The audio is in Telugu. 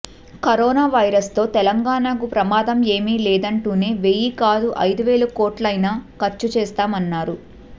కరోనా వైరస్ తో తెలంగాణకు ప్రమాదం ఏమీ లేదంటూనే వెయ్యి కాదు ఐదు వేల కోట్లైనా ఖర్చు చేస్తామన్నారు